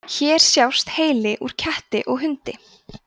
hér sjást heili úr ketti og hundi